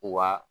Wa